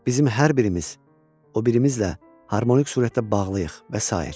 Bizim hər birimiz, o birimizlə harmonik surətdə bağlıyıq və sair.